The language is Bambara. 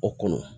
O kɔnɔ